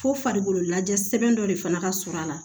Fo farikolo lajɛ sɛbɛn dɔ de fana ka surun a la